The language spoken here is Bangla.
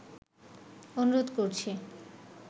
অনুরোধ করছি'